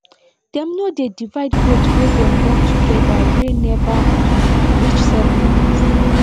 dem no dey divide goat wey dem born together wey never um reach seven day